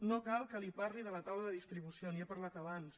no cal que li parli de la taula de distribució n’hi he parlat abans